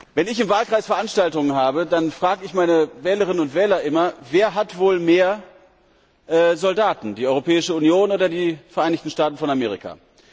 Wenn ich im Wahlkreis Veranstaltungen habe, dann frage ich meine Wählerinnen und Wähler immer Wer hat wohl mehr Soldaten, die Europäische Union oder die Vereinigten Staaten von Amerika?